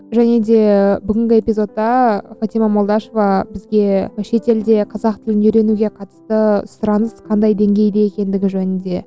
және де бүгінгі эпизодта фатима молдашева бізге шетелде қазақ тілін үйренуге қатысты сұраныс қандай деңгейде екендігі жөнінде